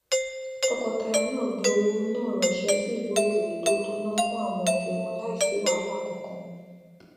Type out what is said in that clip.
tọkọtaya náà gbé owó náà ranṣẹ́ sí ìlú òkèrè to tó ná fún àwọn òbí wọn láìsí wàhálà kankan